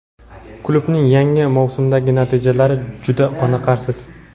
Klubning yangi mavsumdagi natijalari juda qoniqarsiz;.